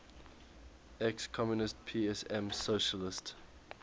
ex communist psm socialist